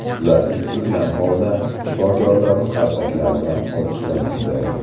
Ular tik turgan holda shifokorlarni qarsaklar bilan olqishlamoqda.